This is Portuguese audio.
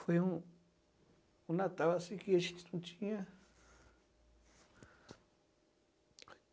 Foi um um Natal assim que a gente não tinha.